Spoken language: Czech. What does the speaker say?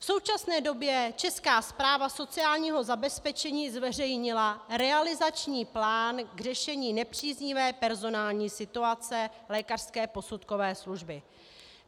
V současné době Česká správa sociálního zabezpečení zveřejnila realizační plán k řešení nepříznivé personální situace lékařské posudkové služby.